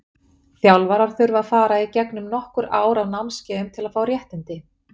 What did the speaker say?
Þjálfarar þurfa að fara í gegnum nokkur ár af námskeiðum til að fá réttindi.